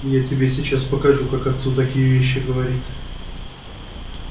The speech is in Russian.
я тебе сейчас покажу как отцу такие вещи говорить